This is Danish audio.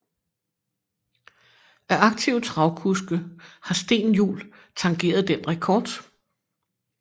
Af aktive travkuske har Steen Juul tangeret den rekord